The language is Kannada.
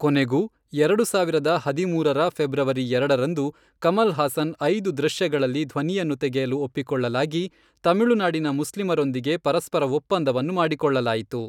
ಕೊನೆಗೂ ಎರಡು ಸಾವಿರದ ಹದಿಮೂರರ ಫೆಬ್ರವರಿ ಎರಡರಂದು, ಕಮಲ್ ಹಾಸನ್ ಐದು ದೃಶ್ಯಗಳಲ್ಲಿ ಧ್ವನಿಯನ್ನು ತೆಗೆಯಲು ಒಪ್ಪಿಕೊಳ್ಳಲಾಗಿ, ತಮಿಳುನಾಡಿನ ಮುಸ್ಲಿಮರೊಂದಿಗೆ ಪರಸ್ಪರ ಒಪ್ಪಂದವನ್ನು ಮಾಡಿಕೊಳ್ಳಲಾಯಿತು.